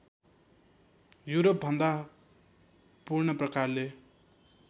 युरोपभन्दा पूर्ण प्रकारले